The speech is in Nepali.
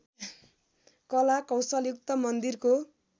कला कौशलयुक्त मन्दिरको